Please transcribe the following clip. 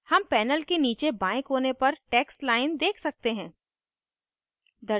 हम panel के नीचे बाएं कोने पर text line देख सकते हैं